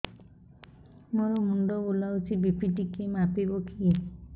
ମୋ ମୁଣ୍ଡ ବୁଲାଉଛି ବି.ପି ଟିକିଏ ମାପିବ କି